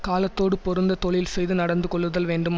காலத்தோடு பொருந்த தொழில்செய்து நடந்து கொள்ளுதல் வேண்டும்